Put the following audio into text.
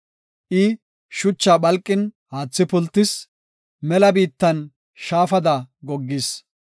I shuchaa phalqin, haathi pultis; mela biittan shaafada goggis.